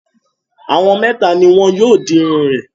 Àwọn mẹ́ta ni wọn yóò di irun rẹ̀.